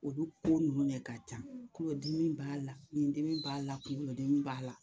Olu ko ninnu de ka ca kɔdimi b'a la ɲidimi b'a la kunkolodimi b'a la